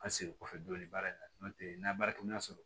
An segin kɔfɛ dɔɔnin baara in na n tɛ n'a baarakɛminɛn sɔrɔ